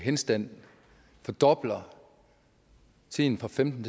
henstand vi fordobler tiden fra femten